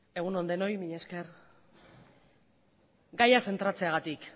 egun on denoi mila esker gaia zentratzeagatik